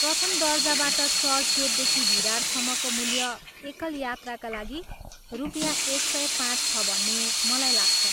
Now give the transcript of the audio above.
प्रथम दर्जाबाट चर्चगेटदेखि भिरारसम्मको मूल्य एकल यात्राका लागि रुपियाँ एक सय पाँच छ भन्ने मलाई लाग्छ।